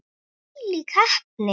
Þvílík heppni!